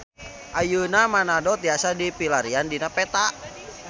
Ayeuna Manado tiasa dipilarian dina peta